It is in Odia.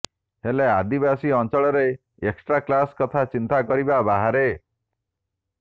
ହେଲେ ଆଦିବାସୀ ଅଞ୍ଚଳରେ ଏକ୍ସଟ୍ରା କ୍ଲାସ୍ କଥା ଚିନ୍ତା କରିବା ବାହାରେ